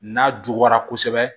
N'a juguyara kosɛbɛ